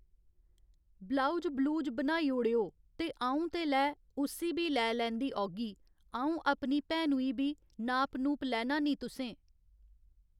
blouse ब्लूज बनाई ओड़ेओ ते अ'ऊं ते लै, उस्सी बी लै लैंदी औह्गी, अ'ऊं अपनी भैनूं ई बी, नाप नूप लैना निं तुसें